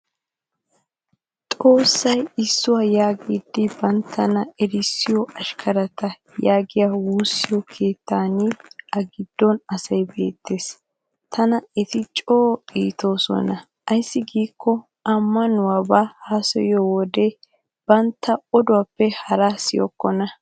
Xoossay issuwa yaagidi banttana erssiyo ashkkarata yaagiya woosiyo keettaninne a giddon asay beettes. Tana eti coo iitoosona ayssi giikko ammanuwaabaa haasayiyo wode bantta odoppe haraa siyokkona